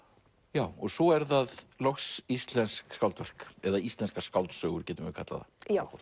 já og svo eru það loks íslensk skáldverk eða íslenskar skáldsögur getum við kallað það